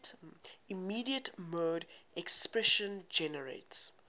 immediate mode expression generates